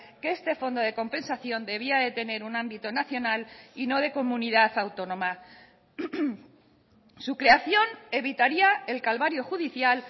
que este fondo de compensación debía de tener un ámbito nacional y no de comunidad autónoma su creación evitaría el calvario judicial